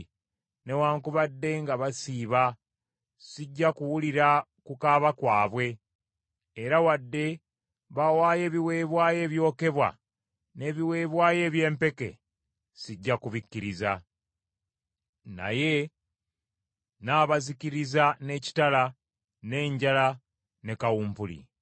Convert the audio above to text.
Newaakubadde nga basiiba, sijja kuwulira kukaaba kwabwe, era wadde bawaayo ebiweebwayo ebyokebwa n’ebiweebwayo eby’empeke, sijja kubikkiriza. Naye nnaabazikiriza n’ekitala, n’enjala ne kawumpuli.”